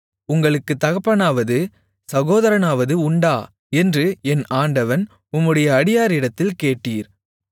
உங்களுக்குத் தகப்பனாவது சகோதரனாவது உண்டா என்று என் ஆண்டவன் உம்முடைய அடியாரிடத்தில் கேட்டீர்